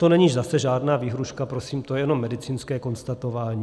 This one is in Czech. To není zase žádná výhrůžka prosím, to je jenom medicínské konstatování.